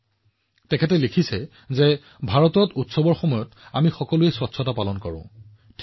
তেওঁ এইদৰে লিখিছিল ভাৰতৰ উৎসৱবোৰত আমি সকলোৱে পৰিষ্কাৰপৰিচ্ছন্নতা উদযাপন কৰোঁ